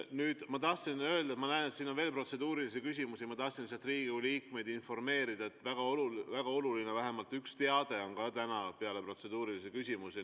Nüüd, kuna ma näen, et siin on veel protseduurilisi küsimusi, siis ma tahtsin Riigikogu liikmeid informeerida, et mul on vähemalt üks väga oluline teade täna peale protseduurilisi küsimusi.